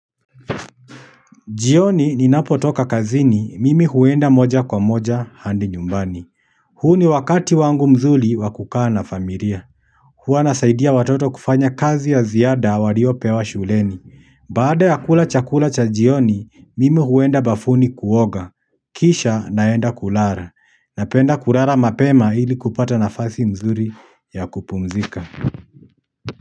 Jioni ninapo toka kazini, mimi huenda moja kwa moja hadi nyumbani huu ni wakati wangu mzuri wa kukaa na familia huwa nasaidia watoto kufanya kazi ya ziada waliopewa shuleni baada ya kula chakula cha jioni, mimi huenda bafuni kuoga kisha naenda kulala. Napenda kulala mapema ili kupata nafasi nzuri ya kupumzika.